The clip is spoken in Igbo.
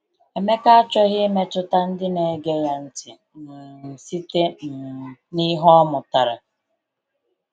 Emeka achọghị imetụta ndị na-ege ya ntị um site um na ihe ọ mụtara.